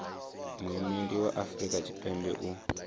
muimeli wa afrika tshipembe u